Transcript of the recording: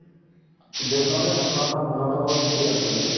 শেষত তোমাৰ পোন্ধৰটা ball ত fifty run কৰিছে